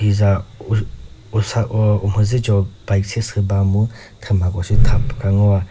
puza sa u usa uh umhüzü cho bike sesüh ba mu thümako shi tha pü ka ngoa.